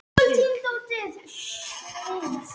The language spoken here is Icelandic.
AF HVERJU ERTU AÐ HLAUPA SVONA FRÁ MANNI!